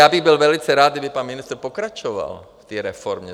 Já bych byl velice rád, kdyby pan ministr pokračoval v té reformě.